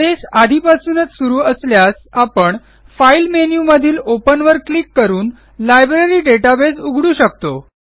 base आधीपासूनच सुरू असल्यास आपण फाइल मेनू मधीलOpen वर क्लिक करून लायब्ररी डेटाबेस उघडू शकतो